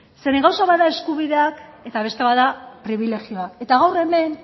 zeren gauza bat da eskubideak eta beste gauza bat da pribilegioak gaur hemen